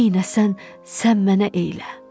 nəynəsən sən mənə eylə.